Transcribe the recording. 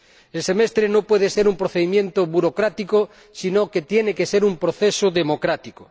El semestre no puede ser un procedimiento burocrático, sino que tiene que ser un proceso democrático.